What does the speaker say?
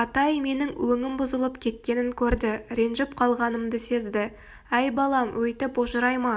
атай менің өңім бұзылып кеткенін көрді ренжіп калғанымды сезді әй балам өйтіп ожырайма